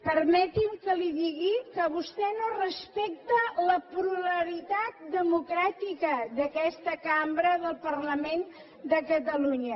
permeti’m que li digui que vostè no respecta la pluralitat democràtica d’aquesta cambra del parlament de catalunya